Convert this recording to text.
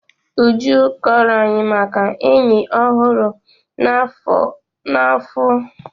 Uju kọọrọ anyị maka enyi ọ hụrụ na-afụ opi na Yankari Gemu Rịzavụ.